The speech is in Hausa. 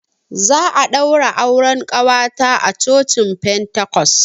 Za a ɗaura auren ƙawata a cocin pentacos.